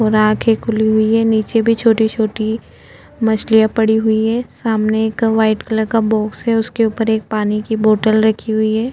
और आंखे खुली हुई है नीचे भी छोटी- छोटी मछलियां पड़ी हुई है सामने एक व्हाइट कलर का बॉक्स है उसके ऊपर एक पानी की बॉटल रखी हुई है।